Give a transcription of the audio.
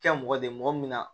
Kɛ mɔgɔ de ye mɔgɔ min na